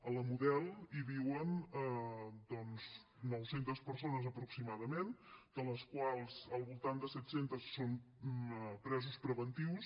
a la model hi viuen doncs nou centes persones aproximadament de les quals al voltant de set centes són presos preventius